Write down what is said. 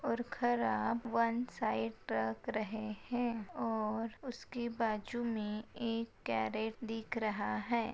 और खराब one side टाक रहे है और उसके बाजू मे एक करेट दिख रहा है।